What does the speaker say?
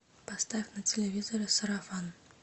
поставь на телевизоре сарафан